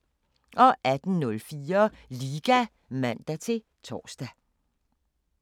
18:04: Liga (man-tor)